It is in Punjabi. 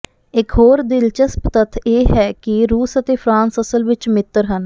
ਇਕ ਹੋਰ ਦਿਲਚਸਪ ਤੱਥ ਇਹ ਹੈ ਕਿ ਰੂਸ ਅਤੇ ਫਰਾਂਸ ਅਸਲ ਵਿਚ ਮਿੱਤਰ ਸਨ